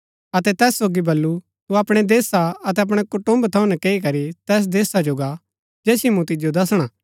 अतै तैस सोगी बल्लू तू अपणै देशा अतै अपणै कुटुम्ब थऊँ नकैई करी तैस देशा जो गा जैसिओ मूँ तिजो दसणा